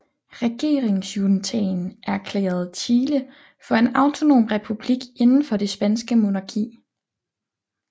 Regeringsjuntaen erklærede Chile for en autonom republik inden for det spanske monarki